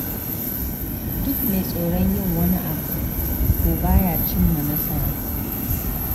Duk mai tsoron yin wani abu to ba ya cimma nasara.